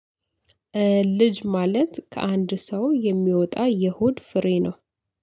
ልጅ ማለት ከአንድ ሰው የሚወጣ የሆድ ፍሬ ነው።